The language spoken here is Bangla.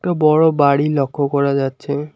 একটা বড় বাড়ি লক্ষ্য করা যাচ্ছে।